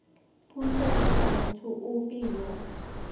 puso kgotsa motho ope yo